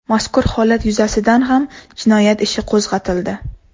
Mazkur holat yuzasidan ham jinoyat ishi qo‘zg‘atildi.